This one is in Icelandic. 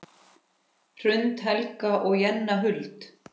Hrund, Helga og Jenna Huld.